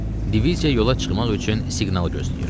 Diviziya yola çıxmaq üçün siqnal gözləyirdi.